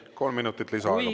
Kolm minutit lisaaega, palun!